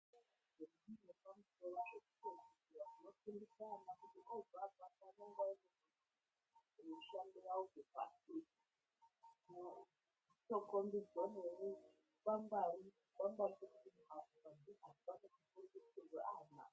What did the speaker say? Zvikoro zvepamusoro zvekupedzisira zvinofundise ana kuti obva apapo unenge oziye mushando yawo kuvhasiti noo kombidze noukwangwari zvikwangwari zvinoratidze kuti aya mazera anoite mafundisirwe acho.